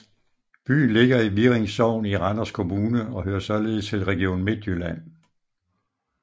Byen ligger i Virring Sogn i Randers Kommune og hører således til Region Midtjylland